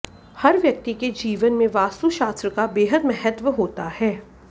हर व्यक्ति के जीवन में वास्तुशास्त्र का बेहद महत्व होता है